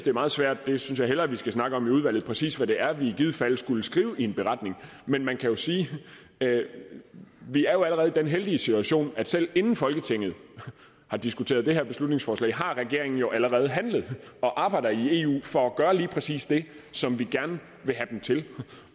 er meget svært og jeg synes vi hellere skal snakke om i udvalget præcis hvad det er vi i givet fald skulle skrive i en beretning men man kan jo sige at vi allerede den heldige situation at selv inden folketinget har diskuteret det her beslutningsforslag har regeringen allerede handlet og arbejder i eu for at gøre lige præcis det som vi gerne vil have dem til